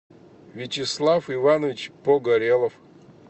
вячеслав иванович погорелов